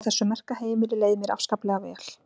Á þessu merka heimili leið mér afskaplega vel.